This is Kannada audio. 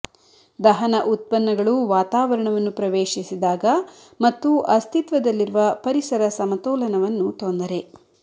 ದಹನ ಉತ್ಪನ್ನಗಳು ವಾತಾವರಣವನ್ನು ಪ್ರವೇಶಿಸಿದಾಗ ಮತ್ತು ಅಸ್ತಿತ್ವದಲ್ಲಿರುವ ಪರಿಸರ ಸಮತೋಲನವನ್ನು ತೊಂದರೆ